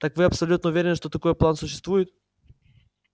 так вы абсолютно уверены что такой план существует